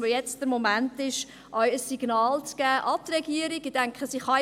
Jetzt ist der Moment, der Regierung ein Signal zu geben.